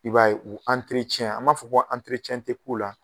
I b'a ye u an b'a fɔ ko tɛ k'u la.